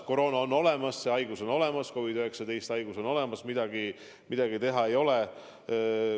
Koroona on olemas, see haigus on olemas, COVID-19 haigus on olemas, midagi teha ei ole.